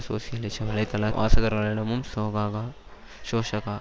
சோசியலிச வலைத்தள வாசகர்களிடமும் சோகக சோசக